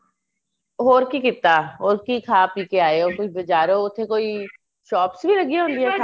ਹੋਰ ਕੀ ਕੀਤਾ ਹੋਰ ਕੀ ਖਾ ਪੀ ਕੇ ਆਏ ਓ ਕੋਈ ਬਾਜਾਰੋ ਉੱਥੇ ਕੋਈ shops ਵੀ ਹੈਗਿਆ ਹੋਣ ਗਿਆਂ